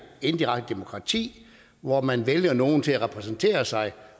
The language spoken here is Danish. indirekte demokrati hvor man vælger nogle til at repræsentere sig